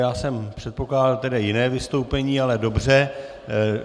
Já jsem předpokládal tedy jiné vystoupení, ale dobře.